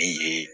Ne ye